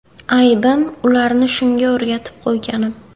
Aybim – ularni shunga o‘rgatib qo‘yganim.